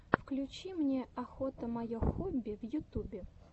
включи мне охота мое хобби в ютубе